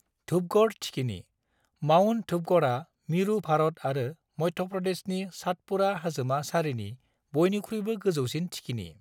धूपगढ़ थिखिनि: माउंट धूपगढ़आ मिरु भारत आरो मध्य प्रदेशनि सातपुड़ा हाजोमा सारिनि बयनिख्रुइबो गोजौसिन थिखिनि।